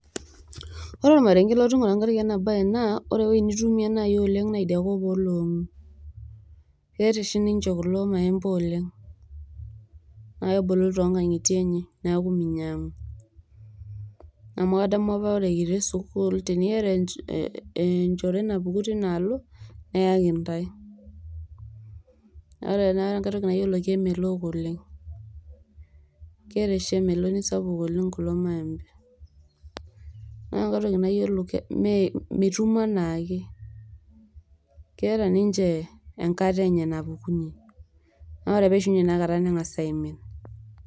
Ore ormarenke latoningo tenkaraki ena bae naa ore ewuei nitumie nai oleng naa idia kop oloongu ,keeta oshi ninche kulo maembe oleng naa kebulu toonkangitie enye niaku minyangu, amu kadamu apa ore apa kitii sukuul teniata enchore napuku tinaalo neyaki intae . ore enkae toki nayiolo naa kemelook oleng ,keeta oshi emeloni sapuk kulo maembe . ore enkae toki nayiolo me mitum anaake ,keeta niche enkata enye napukunyie naa ore pee eishunye ina kata nengas aimin